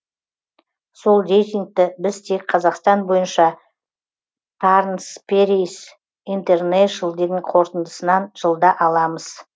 сол рейтингті біз тек қазақстан бойынша тарнсперейс интернешл дің қорытындысынан жылда аламыз